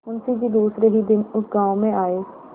मुँशी जी दूसरे ही दिन उस गॉँव में आये